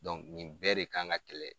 nin bɛɛ de kan ka kɛlɛ.